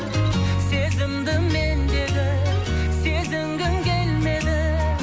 сезімді мендегі сезінгің келмеді